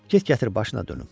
Get gətir başına dönüm.